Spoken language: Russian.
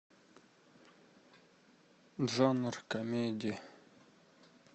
жанр комедии